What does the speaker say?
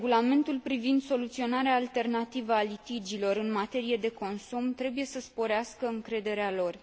Regulamentul privind soluționarea alternativă a litigiilor în materie de consum trebuie să sporească încrederea lor.